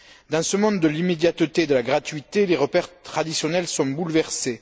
Dans ce monde de l'immédiateté et de la gratuité, les repères traditionnels sont bouleversés.